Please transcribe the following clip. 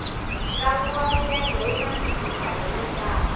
ntlangu wa milenge wuna mphikizano yo tala